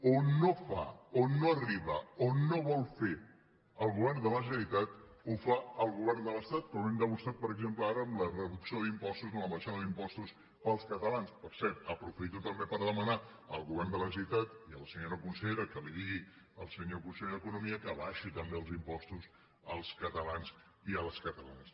on no fa on no arriba on no vol fer el govern de la generalitat ho fa el govern de l’estat com hem demostrat per exemple ara amb la reducció d’impostos amb l’abaixada d’impostos per als catalans per cert aprofito també per demanar al govern de la generalitat i a la senyora consellera que li diguin al senyor conseller d’economia que abaixi també els impostos als catalans i a les catalanes